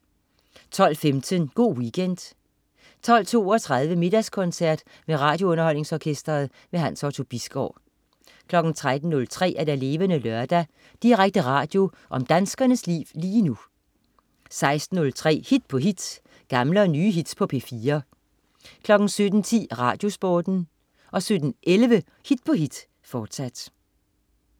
12.15 Go' Weekend 12.32 Middagskoncert med RadioUnderholdningsOrkestret. Hans Otto Bisgaard 13.03 Levende Lørdag. Direkte radio om danskernes liv lige nu 16.03 Hit på hit. Gamle og nye hits på P4 17.10 RadioSporten 17.11 Hit på hit, fortsat